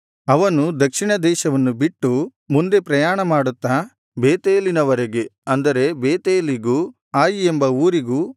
ಅವನು ದಕ್ಷಿಣ ದೇಶವನ್ನು ಬಿಟ್ಟು ಮುಂದೆ ಪ್ರಯಾಣ ಮಾಡುತ್ತಾ ಬೇತೇಲಿನವರೆಗೆ ಅಂದರೆ ಬೇತೇಲಿಗೂ ಆಯಿ ಎಂಬ ಊರಿಗೂ